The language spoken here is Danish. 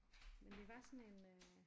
Men det var sådan en øh